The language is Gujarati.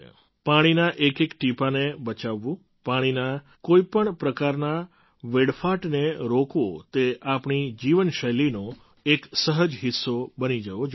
પાણીના એકએક ટીપાને બચાવવું પાણીના કોઈ પણ પ્રકારના વેડફાટને રોકવો તે આપણી જીવનશૈલીનો એક સહજ હિસ્સો બની જવો જોઈએ